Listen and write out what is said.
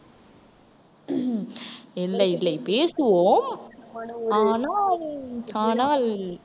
இல்லை இல்லை பேசுவோம். ஆனால் ஆனால்